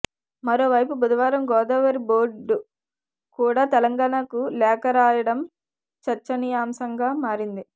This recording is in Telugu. మరోవైపు బుధవారం గోదావరి బోర్డు కూడా తెలంగాణకు లేఖ రాయడం చర్చనీయాంశంగా మారింది